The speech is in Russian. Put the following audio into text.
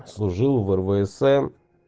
служил в рвсн